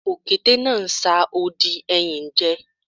Òkété náà ń sa odi ẹyìn jẹ